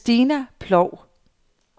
Christina Ploug